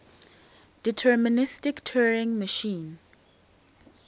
deterministic turing machine